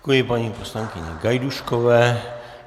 Děkuji paní poslankyni Gajdůškové.